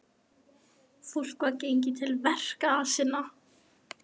Fólk var gengið til verka sinna.